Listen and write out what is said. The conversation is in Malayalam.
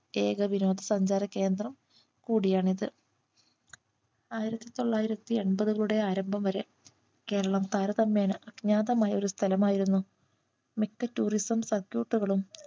ഏക വിനോദസഞ്ചാര കേന്ദ്രം കൂടിയാണിത് ആയിരത്തിതൊള്ളായിരത്തിയെമ്പത്കളുടെ ആരംഭം വരെ കേരളം താരതമ്യേനെ അജ്ഞാതമായ ഒരു സ്ഥലം ആയിരുന്നു മിക്ക tourism circuit കളും